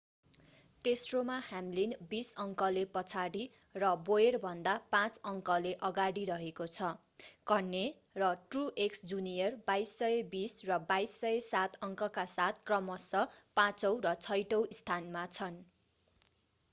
तेस्रोमा Hamlin बीस अङ्कले पछाडी र बोयरभन्दा पाँच अङ्कले अगाडि रहेको छ कह्ने र ट्रुएक्स जुनियर 2,220 र 2,207 अङ्कका साथ क्रमशः पाचौं र छैठौं स्थानमा छन्